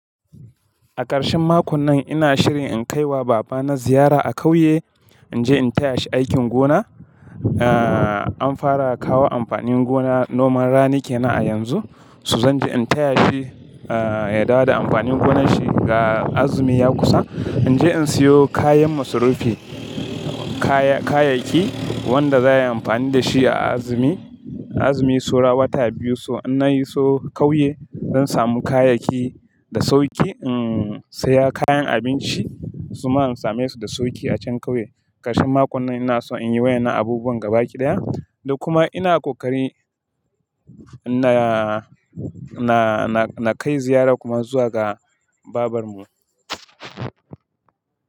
A ƙarshen makon nan ina shirin in kai wa baba na ziyara a ƙauye. In je in taya shi aikin gona. Eh, an fara kawo amfanin gona noman rani kenan a yanzu, so zan je in taya shi, eh, ya dawo da amfanin gonan shi ga azumi ya kusa. In je in siyo kayan masrufi, kaya, kayayyaki wanda za aiyi amfani da shi a azumi, azumi saura wata biyu. So inna yi so ƙauye zan samu kayayyaki da sauki. In saya kayan abinci kuma in same su da sauki a can ƙauye. Ƙarshen makon nan ina so in yi wayena abubuwan gaba ɗaya, da kuma ina ƙoƙari na, na, na kai ziyara kuma zuwa ga babarmu.